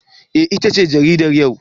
Eh, itace jaridar yau.